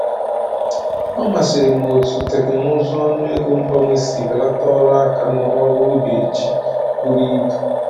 Ọ masịrị m otú teknụzụ ọnụego mgbanwe si belata ọrụ aka n’ọrụ ubi ji buru ibu.